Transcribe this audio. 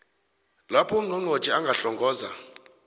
lapho ungqongqotjhe angahlongoza